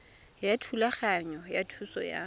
ya thulaganyo ya thuso ya